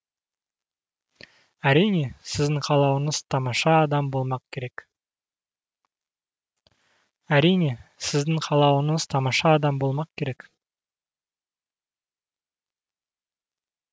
әрине сіздің қалауыңыз тамаша адам болмақ керек